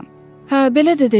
Hə, belə də dedi.